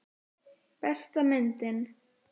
Besta myndin.